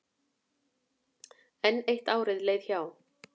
Enn eitt árið leið hjá.